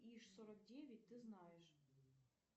иж сорок девять ты знаешь